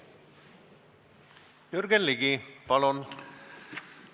Jürgen Ligi, palun!